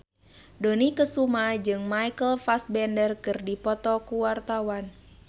Dony Kesuma jeung Michael Fassbender keur dipoto ku wartawan